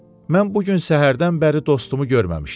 Mən bu gün səhərdən bəri dostumu görməmişdim.